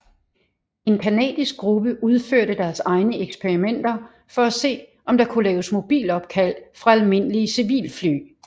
En canadisk gruppe udførte deres egne eksperimenter for at se om der kunne laves mobilopkald fra almindelige civilfly